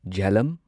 Jhelum